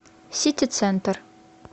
ситицентр